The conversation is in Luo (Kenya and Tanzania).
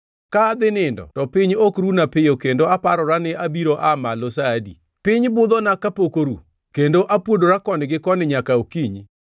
Ka adhi nindo to piny ok runa piyo kendo aparora ni abiro aa malo sa adi? Piny budhona kapok oru, kendo apuodora koni gi koni nyaka okinyi.